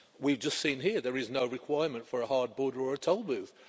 We've just seen here that there is no requirement for a hard border or a toll booth.